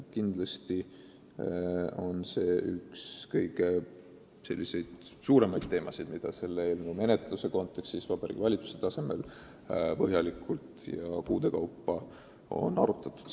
Kindlasti on see üks tähtsaimaid teemasid, mida selle eelnõu menetlemise kontekstis Vabariigi Valitsuse tasemel põhjalikult ja kuude kaupa on arutatud.